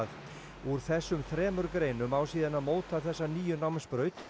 úr þessum þremur greinum á síðan að móta þessa nýju námsbraut